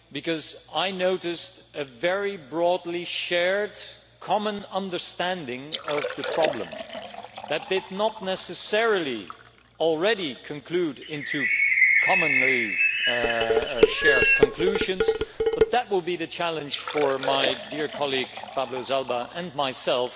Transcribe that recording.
Because I noticed a very broadly shared common understanding of the problem that did not necessarily already reach commonly shared conclusions, but will be the challenge for my dear colleague, Pablo Zalba, and myself